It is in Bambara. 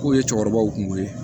K'o ye cɛkɔrɔbaw kun ko ye